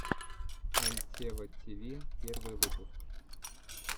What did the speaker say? альтева тиви первый выпуск